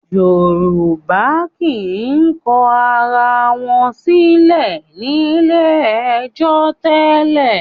Yorùbá kì í kọ ara wọn sílẹ̀ ní ilé-ẹjọ́ tẹ́lẹ̀